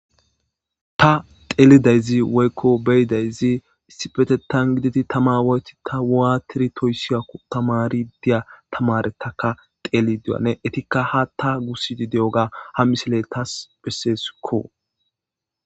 Ta xelidaysi woyko be'isi issippetethan godidi Tama wostidi watidi toysiyakon tamarida tameriyataka xelidi anne etika hatha gusidi diyoga ha misileka besesko